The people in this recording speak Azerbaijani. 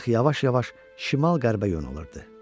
Qayıq yavaş-yavaş şimal-qərbə yönəlirdi.